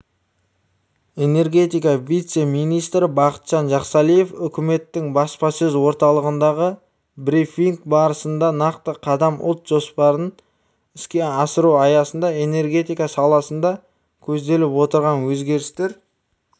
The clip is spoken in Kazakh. энергетика вице-министрі бақытжан жақсалиев үкіметтің баспасөз орталығындағы брифинг барысында нақты қадам ұлт жоспарын іске асыру аясында энергетика саласында көзделіп отырған өзгерістер